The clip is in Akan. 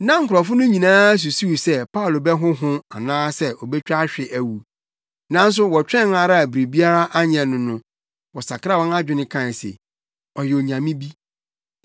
Na nkurɔfo no nyinaa susuw sɛ Paulo bɛhonhon anaasɛ obetwa ahwe awu. Nanso wɔtwɛn ara a biribiara anyɛ no no, wɔsakraa wɔn adwene kae se, “Ɔyɛ onyame bi.”